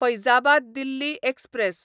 Faizabad Delhi express